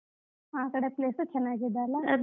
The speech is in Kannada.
ಆ ಕಡೆ place ಚನ್ನಾಗಿದೆ ಅಲ್ಲಾ?